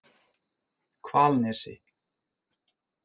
Hvalnesi